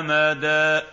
أَمَدًا